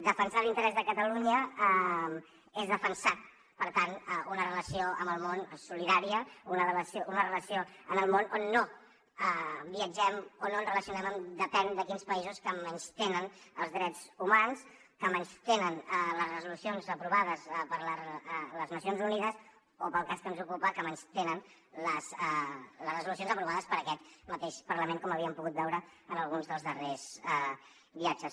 defensar l’interès de catalunya és defensar per tant una relació amb el món solidària una relació amb el món on no viatgem o no ens relacionem amb depèn de quins països que menystenen els drets humans que menystenen les resolucions aprovades per les nacions unides o pel cas que ens ocupa que menystenen les resolucions aprovades per aquest mateix parlament com havíem pogut veure en alguns dels darrers viatges